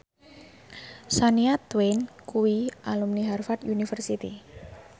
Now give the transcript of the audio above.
Shania Twain kuwi alumni Harvard university